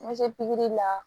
Ma se pikiri la